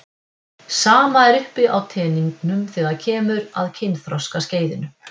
Sama er uppi á teningnum þegar kemur að kynþroskaskeiðinu.